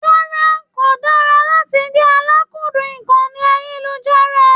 Rárá, ko dára láti jẹ àlàkúndun ìkànnì ayelujara.